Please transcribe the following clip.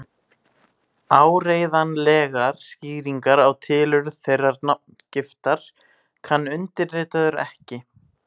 Áreiðanlegar skýringar á tilurð þeirrar nafngiftar kann undirritaður ekki.